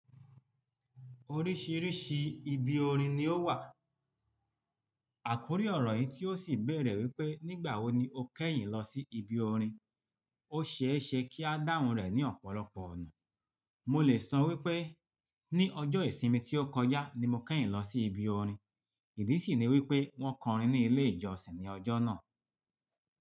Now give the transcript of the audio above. Oríṣìíríṣìí ibi orin ni ó wà. Àkórí ọ̀rọ̀ yìí tí ó sì bèèrè wípé nígbà wo ni o kẹ́yìn lọ sí ibi orin. Ó ṣeéṣe kí a dáhùn rẹ̀ ní ọ̀pọ̀lọpọ̀ ọ̀nà. Mo lè sọ wípé ní ọjọ́ ìsinmi tí ó kọjá ni mo kẹ́yìn lọ sí ibi orin, ìdí sì ni wípé wón kọ orin ní ilé ìjọsìn ní ọjọ́ náà.